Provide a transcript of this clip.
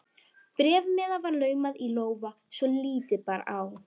Bréfmiða var laumað í lófa svo lítið bar á.